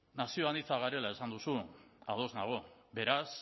nazio anitza garela esan duzu ados nago beraz